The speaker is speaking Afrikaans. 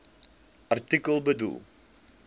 artikel bedoel